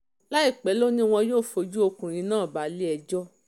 láìpẹ́ lọ ni um wọn yóò fojú ọkùnrin náà balẹ̀-ẹjọ́